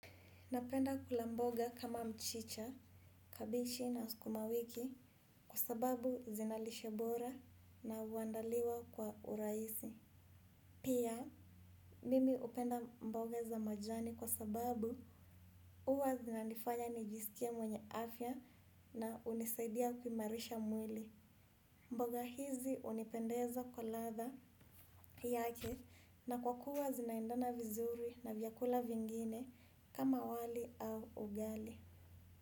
Napenda kula mboga kama mchicha, kabeji na sukuma wiki kwa sababu zina lishe bora na huandaliwa kwa urahisi. Pia, mimi hupenda mboga za majani kwa sababu huwa zinanifanya nijisikie mwenye afya na hunisaidia kumarisha mwili. Mboga hizi hunipendeza kwa ladha yake na kwa kuwa zinaendana vizuri na vyakula vingine kama wali au ugali.